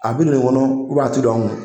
A bɛ non nin kɔnɔ u b'a tɛ don an kunna.